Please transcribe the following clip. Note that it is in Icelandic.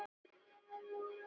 Stoppar mig upp?